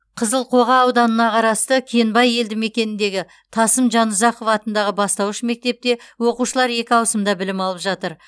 қызылқоға ауданына қарасты кенбай елдімекеніндегі тасым жанұзақов атындағы бастауыш мектепте оқушылар екі ауысымда білім алып жатыр